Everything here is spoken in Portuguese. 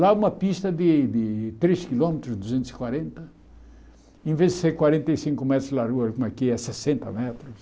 Lá é uma pista de de três quilômetros, duzentos e quarenta, em vez de ser quarenta e cinco metros de largura, como aqui é sessenta metros.